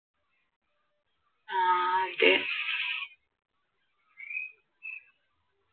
ആഹ് അതെ